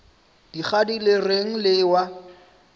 dikgadi le reng le ewa